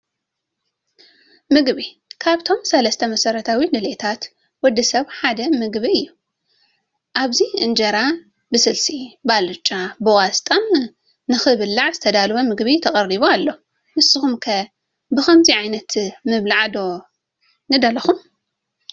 ምግቢ፡- ካብቶም ሰለስተ መሰረታዊ ድልየታት ወዲ ሰብ ሓደ ምግቢ እዩ፡፡ ኣብዚ እንጀራ ብስልሲ ፣ ብኣልጫን ብቆስጣን ንኽብላዕ ዝተዳለወ ምግቢ ተቐሪቡ ኣሎ፡፡ ንስኹም ከ ብኸምዚ ዓይነት ምብላዕ ዶ ንደለኹም?